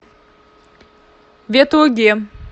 ветлуге